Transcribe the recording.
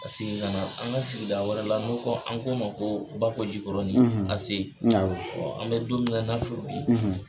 Ka segin ka na an ka sigida wɛrɛ la n'u ko an k'o ma ko bakɔ jikɔrɔnin an bɛ don min na i n'a fɔ bi